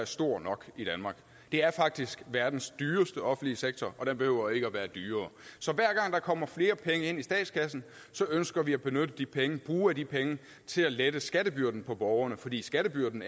stor nok det er faktisk verdens dyreste offentlige sektor og den behøver ikke at være dyrere så hver gang der kommer flere penge ind i statskassen ønsker vi at benytte de penge og bruge af de penge til at lette skattebyrden for borgerne fordi skattebyrden